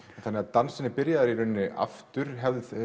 dansinn er byrjaður aftur